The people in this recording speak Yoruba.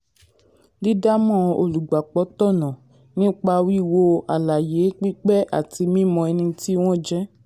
dídámọ̀ olùgbapò tọ̀nà um nípa wíwo um àlàyé pípé àti um mímọ ẹni tí wọ́n jẹ́.